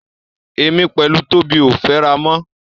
Èmi pẹ̀lú Tóbi ò fẹ́ra mọ́.